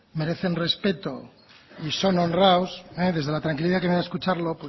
merecen respeto y son honrados desde la tranquilidad que me da escucharlo